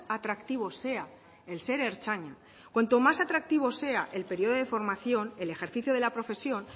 atractivo sea el ser ertzaina cuanto más atractivo sea el periodo de formación el ejercicio de la profesión